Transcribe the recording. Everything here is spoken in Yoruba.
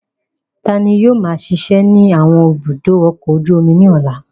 Ta ni yóò máa ṣiṣẹ́ ní àwọn ibùdó ọkọ̀ ojú omi ní ọ̀la?